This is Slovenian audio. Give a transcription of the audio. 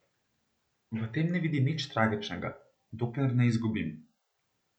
V tem ne vidim nič tragičnega, dokler ne izgubim.